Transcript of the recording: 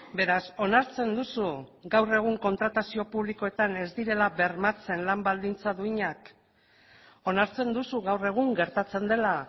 beraz onartzen duzu gaur egun kontratazio publikoetan ez direla bermatzen lan baldintza duinak onartzen duzu gaur egun gertatzen dela